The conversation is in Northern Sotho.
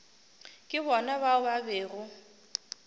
ke bona bao ba bego